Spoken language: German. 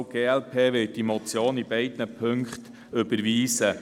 Auch die glp wird die Motion in beiden Punkten überweisen.